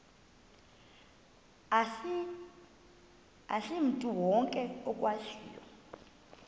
asimntu wonke okwaziyo